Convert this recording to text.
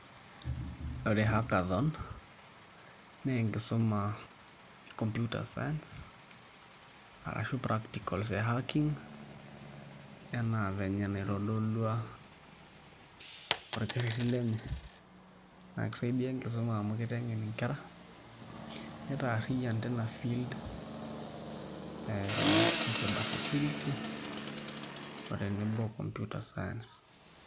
Ore hackathon naa enkisuma e Computer Science ashu practicals e hacking enaa vile naitdolua orkerreri lenye naa kisaidia enkisuma amu kiteng'en nkera nitaarriyian tina field ee e cyber sescurity otenebo o Computer Science.